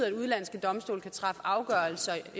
at udenlandske domstole kan træffe afgørelser